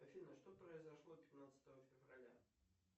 афина что произошло пятнадцатого февраля